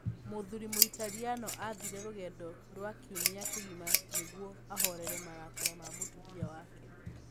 Mũthuri Mũitaliano aathire rũgendo rwa kiumia kĩgima nĩguo ahoorere marakara ma mũtumia wake